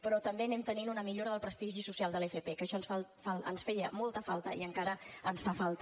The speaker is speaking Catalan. però també anem tenint una millora del prestigi social de l’fp que això ens feia molta falta i encara ens fa falta